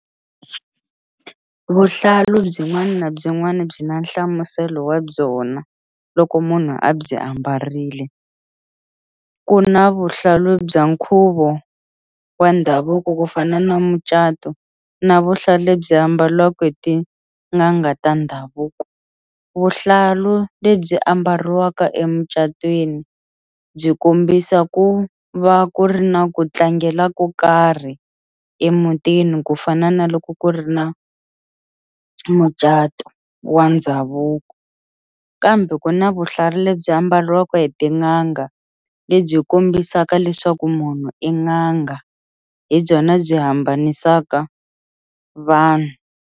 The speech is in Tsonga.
Vuhlalu byin'wana na byin'wana byi na nhlamuselo wa byona loko munhu a byi ambarile ku na vuhlalu bya nkhuvo wa ndhavuko ku fana na mucato na vuhlalu lebyi ambaliwaka hi tin'anga ta ndhavuko vuhlalu lebyi ambariwaka emucatweni byi kombisa ku va ku ri na ku tlangela ko karhi emutini ku fana na loko ku ri na mucato wa ndhavuko kambe ku na vuhlalu lebyi ambaliwaka hi tin'anga lebyi kombisaka leswaku munhu n'anga hi byona byi hambanisaka vanhu.